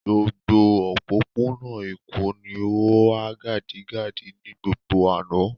Gbogbo òpópónà Èkó ni ó há gádígádí ní gbogbo àná.